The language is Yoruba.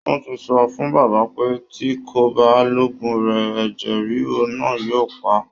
Wọ́n ti sọ fún baba pé tí kò bá lòògùn rẹ̀ ẹ̀jẹ ríru náa yóò pa á